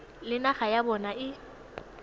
le naga ya bona e